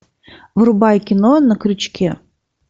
врубай кино на крючке